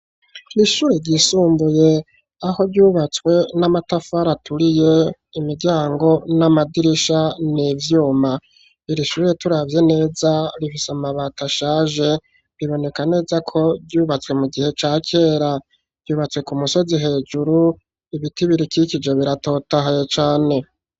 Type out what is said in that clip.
Ishure ryisumbuye aho ryubatswe n'amatafari aturiye, imiryango n'amadirisha n'ivyuma, irishure turavye neza rifise amabati ashaje riboneka neza ko ryubatswe mu gihe ca kera, ryubatse ku musozi hejuru ibiti birikikije biratotahaye cane.